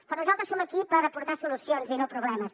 però nosaltres som aquí per aportar solucions i no problemes